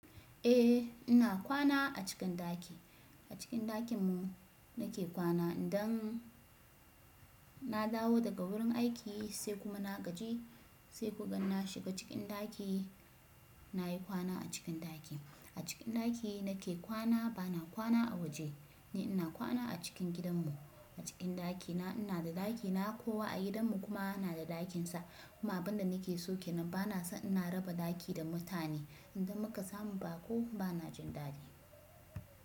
Eh ina kwana a cikin ɗaki, a cikin ɗakin mu na ke kwana idan na dawo daga wurin aiki sai kuma na gaji sai kukan na shiga cikin ɗaki, na yi kwana a cikin ɗaki. A cikin ɗaki na ke kwana bana kwana a waje ne ina kwana a cikin gidan mu. A cikin ɗaki na ina da ɗaki na kowa a gidan mu kuma na da ɗakin sa kuma abin da ni ke so kenan bana so ina raba ɗaki da mutane idan muka samu ba ko bana jin dadi.